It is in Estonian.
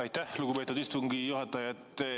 Aitäh, lugupeetud istungi juhataja!